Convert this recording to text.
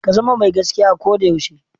Ka zama mai gaskiya a ko da yaushe.